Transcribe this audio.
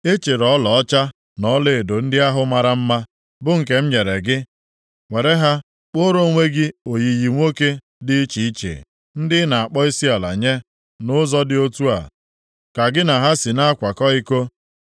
Ị chịrị ọlaọcha na ọlaedo ndị ahụ mara mma, bụ nke m nyere gị, were ha kpụọrọ onwe gị oyiyi nwoke dị iche iche, ndị ị na-akpọ isiala nye. Nʼụzọ dị otu a ka gị na ha si na-akwakọ iko.